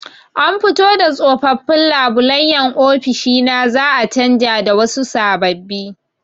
An fito da tsofaffin labulayen ofishi na za'a canja da wasu sababbi.